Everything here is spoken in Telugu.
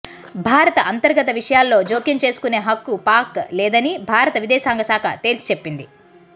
భారత అంతర్గత విషయాల్లో జోక్యం చేసుకునే హక్కు పాక్ లేదని భారత విదేశాంగ శాఖ తేల్చిచెప్పింది